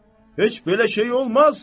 Heç belə şey olmaz.